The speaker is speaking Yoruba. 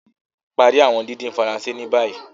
Parí awọn dídín Faransé ní bàyìí.